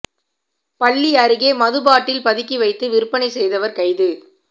பள்ளி அருகே மது பாட்டில் பதுக்கி வைத்து விற்பனை செய்தவர் கைது